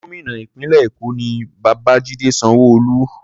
Gómìnà ìpínlẹ̀ Èkó ni Babajide Sanwo-Olu.